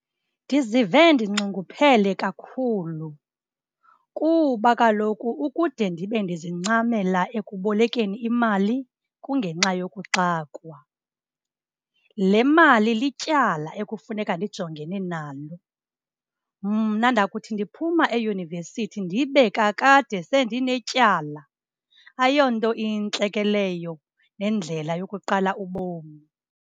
Ndizive ndinxunguphele kakhulu kuba kaloku ukude ndibe ndizincamela ekubolekeni imali kungenxa yokuxakwa. Le mali lityala ekufuneka ndijongene nalo. Mna ndakuthi ndiphuma eyunivesithi ndibe kakade sendinetyala. Ayonto intle ke leyo, nendlela yokuqala ubomi.